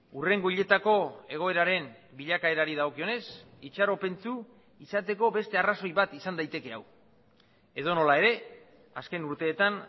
hurrengo hileetako egoeraren bilakaerari dagokionez itxaropentsu izateko beste arrazoi bat izan daiteke hau edonola ere azken urteetan